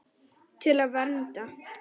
Til að vernda.